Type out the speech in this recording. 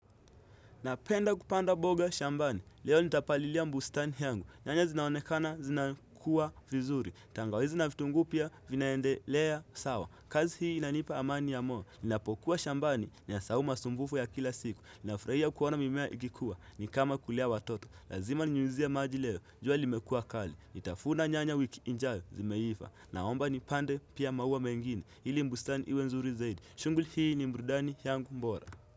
Napenda kupanda boga shambani, leo nitapalilia mbustani yangu, nyanya zinaonekana zina kuwa vizuri, tangawizi na fitungu pia vinaendelea sawa, kazi hii inanipa amani ya moyo, ninapokuwa shambani niasahau masumbufu ya kila siku, ninafurahia kuona mimea ikikuwa, ni kama kulea watoto, lazima ninyinyuzie maji leo, jua limekua kali, nitafuna nyanya wiki ijayo zimeifa, naomba nipande pia maua mengine, ili mbustani iwe nzuri zaidi, shunguli hii ni mbrudani yangu mbora.